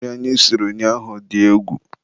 nri anyị siri ụnyaahụ dị egwu.